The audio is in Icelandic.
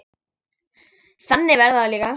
Þannig verður það líka.